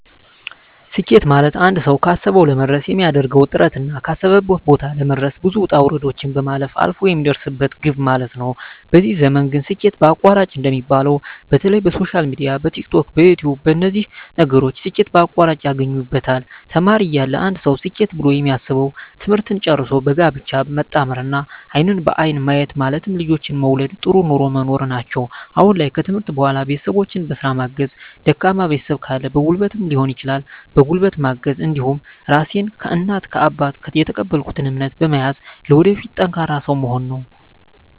ስኬት ማለትአንድ ሰዉ ካሰዉ ለመድረስ የሚያደርገዉ ጥረትና ካሰበበት ቦታ ለመድረስ ብዙ ዉጣ ዉረዶችን ማለፍ አልፍ የሚደርስበት ግብ ማለት ነዉ በዚህ ዘመን ግን ስኬት በአቋራጭ እንደሚባለዉ በተለይ በሶሻል ሚድያ በቲክቶክ በዩትዩብ በነዚህ ነገሮች ስኬት በአቋራጭ ያገኙበታል ተማሪ እያለ አንድ ሰዉ ስኬት ብሎ የሚያስበዉ ትምህርትን ጨርሶ በጋብቻ መጣመርና አይንን በአይን ማየት ማለትም ልጆችን መዉለድ ጥሩ ኑሮ መኖር ናቸዉ አሁን ላይ ከትምህርት በኋላ ቤተሰቦቸን በስራ ማገዝ ደካማ ቤተሰብ ካለ በጉልበትም ሊሆን ይችላል በጉልበት ማገዝ እንዲሁም ራሴን ከእናት ከአባት የተቀበልኩትን እምነት በመያዝ ለወደፊት ጠንካራ ሰዉ መሆን ነዉ